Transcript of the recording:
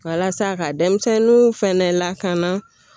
Walasa ka denmisɛnninw fana lakana